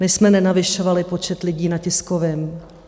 My jsme nenavyšovali počet lidí na tiskovém.